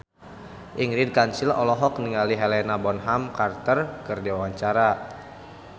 Ingrid Kansil olohok ningali Helena Bonham Carter keur diwawancara